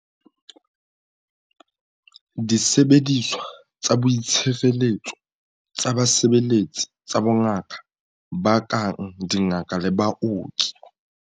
Disebediswa tsa boitshireletso tsa basebeletsi tsa bongaka ba kang dingaka le baoki.